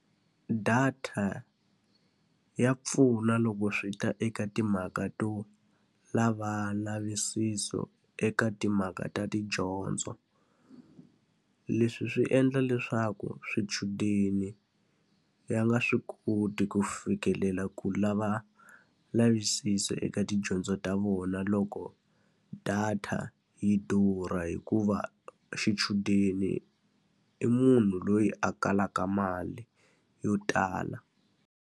Data ya pfuna loko swi ta eka timhaka to lava ndzavisiso eka timhaka ta tidyondzo. Leswi swi endla leswaku swichudeni ya nga swi koti ku fikelela ku lava ndzavisiso eka tidyondzo ta vona loko data yi durha, hikuva xichudeni i munhu loyi a kalaka mali yo tala